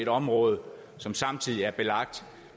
område som samtidig er belagt